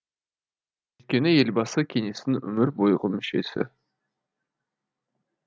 өйткені елбасы кеңестің өмір бойғы мүшесі